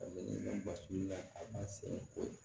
basi la a b'a sen kori